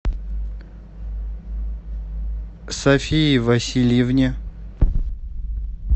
софии васильевне